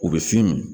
U bɛ fin min